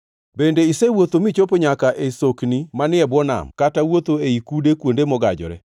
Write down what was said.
“Bende isewuotho michopo nyaka e sokni manie bwo nam kata wuotho ei kude kuonde mogajore?